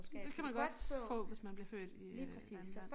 Det kan man godt få hvis man bliver født i øh Danmark